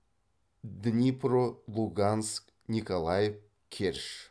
днипро луганск николаев керчь